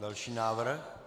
Další návrh.